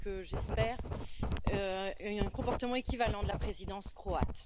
J'espère un comportement équivalent de la présidence croate.